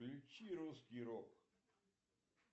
включи русский рок